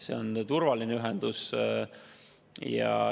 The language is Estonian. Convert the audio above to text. See on turvaline ühendus.